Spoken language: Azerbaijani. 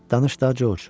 Danış da, Corc.